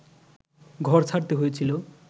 ঘর ছাড়তে হয়েছিল